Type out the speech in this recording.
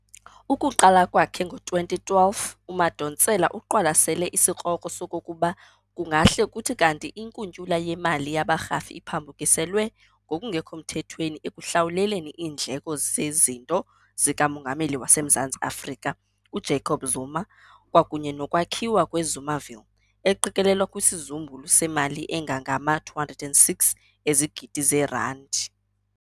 Ukuqala kwakhe ngo-2012, uMadonsela uqwalasele isikrokro sokokuba kungahle kuthi kanti inkuntyula yemali yabarhafi iphambukiselwe ngokungekho mthethweni ekuhlawuleleni iindleko zezinto zika Mongameli waseMzantsi Afrika, uJacob Zuma, kwakunye nokwakhiwa kwe"Zumaville", eqikelelwa kwisizumbulu semali engangama-206 ezigidi zeerandi.